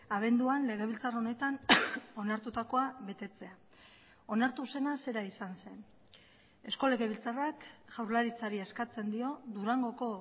abenduan legebiltzar honetan onartutakoa betetzea onartu zena zera izan zen eusko legebiltzarrak jaurlaritzari eskatzen dio durangoko